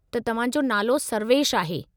त तव्हां जो नालो सर्वेशु आहे।